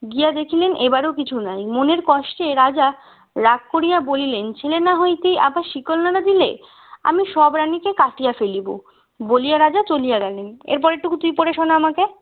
গিয়ে দেখলেন এবারও কিছু নয় মনের কষ্টে রাজা রাগ করিয়া বলিলেন ছেলে না হতেই আবার শিকল নাড়া দিলে আমি সব রানীকে কাটিয়া ফেলব বলিয়া রাজা চলিয়া গেলেন এরপরেরটুকু তুই পড়ে শোনা আমাকে